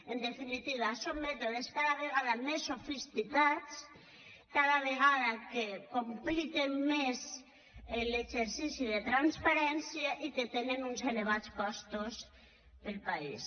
en definitiva són mètodes cada vegada més sofisticats que cada vegada compliquen més l’exercici de transparència i que tenen uns elevats costos per al país